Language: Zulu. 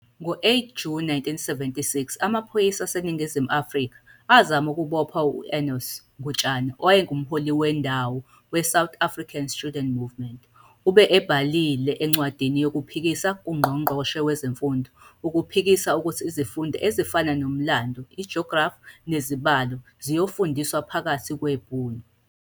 Ngo-8 Juni 1976 amaphoyisa aseNingizimu Afrika azama ukubopha u-Enos Ngutshane owayengumholi wendawo weSouth African Students Movement. Ube ebhalile incwadi yokuphikisa kuNgqongqoshe Wezemfundo ukuphikisa ukuthi izifundo ezifana nomlando, i-geography nezibalo ziyofundiswa phakathi kweBhunu.